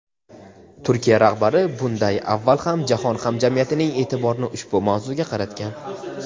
Turkiya rahbari bunday avval ham jahon hamjamiyatining e’tiborini ushbu mavzuga qaratgan.